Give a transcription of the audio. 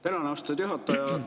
Tänan, austatud juhataja!